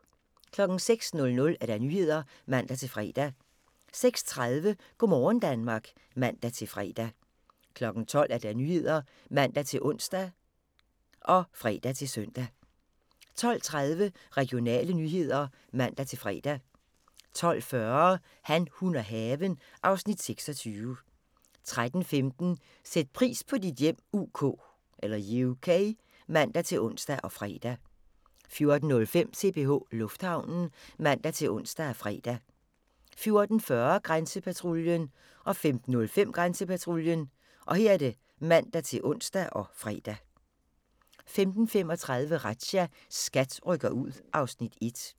06:00: Nyhederne (man-fre) 06:30: Go' morgen Danmark (man-fre) 12:00: Nyhederne (man-ons og fre-søn) 12:30: Regionale nyheder (man-fre) 12:40: Han, hun og haven (Afs. 26) 13:15: Sæt pris på dit hjem UK (man-ons og fre) 14:05: CPH Lufthavnen (man-ons og fre) 14:40: Grænsepatruljen 15:05: Grænsepatruljen (man-ons og fre) 15:35: Razzia – SKAT rykker ud (Afs. 1)